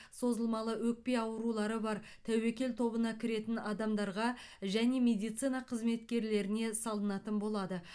созылмалы өкпе аурулары бар тәуекел тобына кіретін адамдарға және медицина қызметкерлеріне салынатын болады